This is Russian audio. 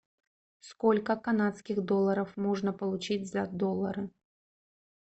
сколько канадских долларов можно получить за доллары